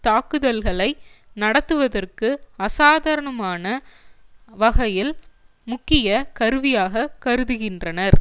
தாக்குதல்களை நடத்துவதற்கு அசாதாரணமான வகையில் முக்கிய கருவியாக கருதுகின்றனர்